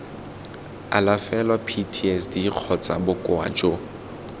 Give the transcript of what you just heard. alafelwa ptsd kgotsa bokoa jo